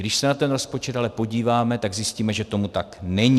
Když se na ten rozpočet ale podíváme, tak zjistíme, že tomu tak není.